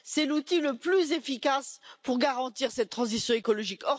C'est l'outil le plus efficace pour garantir cette transition écologique.